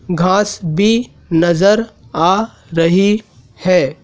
घास भी नजर आ रही है।